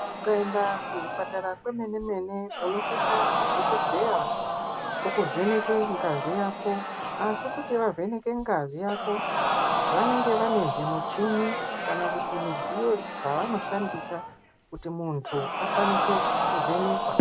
Ukaenda kuzvipatara kwemene mene unosvika madhokodheya okuvheneke ngazi yako asi kuti vavheneke ngazi yako vanenge vane zvimuchini kana kuti midziyo dzavanoshandisa kuti muntu akwanise kuvhenekwa.